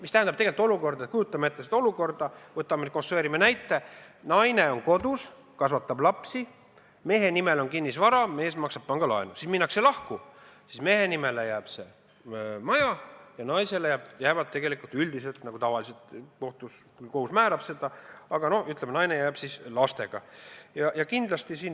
Võtame nüüd näite: naine on kodus ja kasvatab lapsi, mehe nimel on kinnisvara, mees maksab pangalaenu, siis minnakse lahku, mehe nimele jääb maja ja naisele jäävad üldiselt, nagu tavaliselt kohus määrab, lapsed.